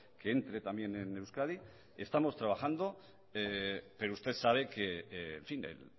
que entre también en euskadi estamos trabajando pero usted sabe que en fin el